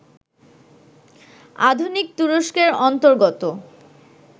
অধুনা তুরস্কের অন্তর্গত